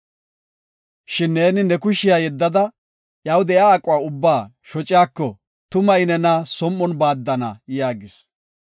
Shin neeni ne kushiya yeddada, iyaw de7iya aquwa ubbaa shociyako, tuma I nena som7on baaddana” yaagis.